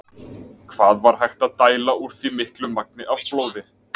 Hvað var hægt að dæla úr því miklu magni af blóði?